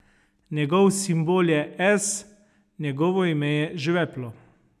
Njegov simbol je S, njegovo ime je žveplo.